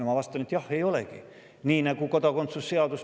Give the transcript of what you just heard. Ma vastan selle peale, et jah, ei ole.